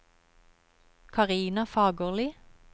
Karina Fagerli